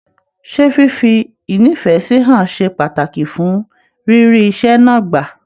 Ṣe fífi ínífẹsí hàn ṣe pàtàkì fún rírí iṣẹ náà gbà?